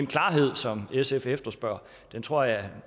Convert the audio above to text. klarhed som sf efterspørger tror jeg